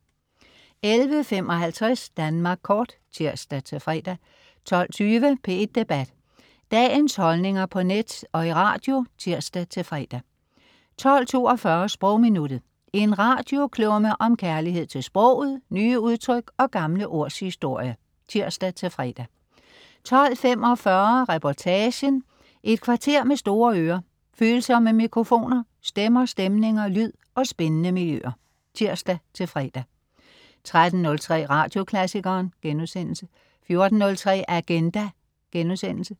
11.55 Danmark Kort (tirs-fre) 12.20 P1 Debat. Dagens holdninger på net og i radio (tirs-fre) 12.42 Sprogminuttet. En radioklumme om kærlighed til sproget, nye udtryk og gamle ords historie (tirs-fre) 12.45 ReportagenEt kvarter med store ører, følsomme mikrofoner, stemmer, stemninger, lyd og spændende miljøer (tirs-fre) 13.03 Radioklassikeren* 14.03 Agenda*